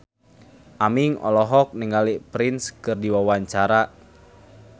Aming olohok ningali Prince keur diwawancara